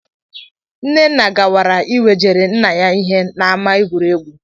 Nnenna gawara iwejere nna ya ihe n'ámá egwuregwu